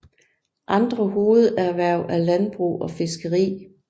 Andre hovederhverv er landbrug og fiskeri